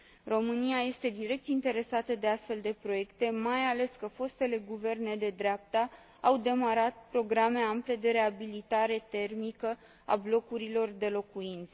România este direct interesată de astfel de proiecte, mai ales că fostele guverne de dreapta au demarat programe ample de reabilitare termică a blocurilor de locuințe.